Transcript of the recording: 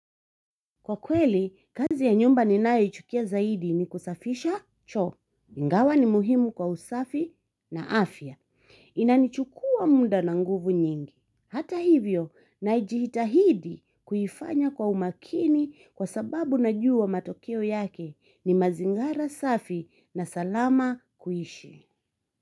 Kwa kweli, kazi ya nyumba ninayoichukia zaidi ni kusafisha choo. Ingawa ni muhimu kwa usafi na afya. Inanichukua muda na nguvu nyingi. Hata hivyo, najitahidi kuifanya kwa umakini kwa sababu najua matokeo yake ni mazingara safi na salama kuishi.